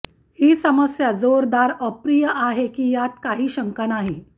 ही समस्या जोरदार अप्रिय आहे की यात काही शंका नाही